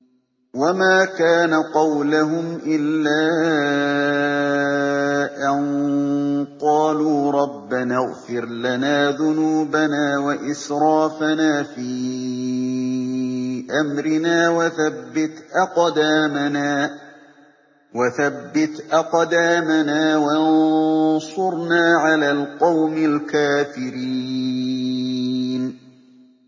وَمَا كَانَ قَوْلَهُمْ إِلَّا أَن قَالُوا رَبَّنَا اغْفِرْ لَنَا ذُنُوبَنَا وَإِسْرَافَنَا فِي أَمْرِنَا وَثَبِّتْ أَقْدَامَنَا وَانصُرْنَا عَلَى الْقَوْمِ الْكَافِرِينَ